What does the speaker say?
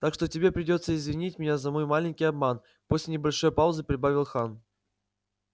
так что тебе придётся извинить меня за мой маленький обман после небольшой паузы прибавил хан